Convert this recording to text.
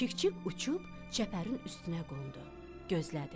Çik-çik uçub çəpərin üstünə qondu, gözlədi.